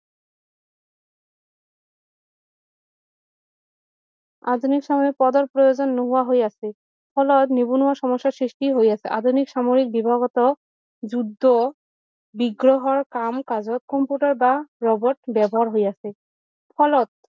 আধুনিক সামৰিক পদৰ প্ৰয়োজন নোহোৱা হৈ আছে ফলত নিবনুৱা সমস্যা সৃষ্টি হৈ আছে আধুনিক সময় বিভাগতো যুদ্ধ বিগ্ৰহৰ কাম কাজত কম্পিউটাৰ বা ৰবট ব্যৱহাৰ হৈ আছে ফলত